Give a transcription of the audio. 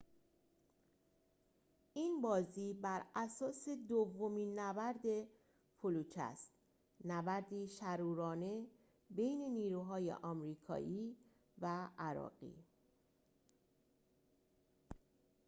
این بازی بر اساس دومین نبرد فلوجه است نبردی شرورانه بین نیروهای آمریکایی و عراقی